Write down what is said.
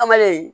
An bɛle